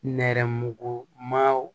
Nɛrɛmugumanw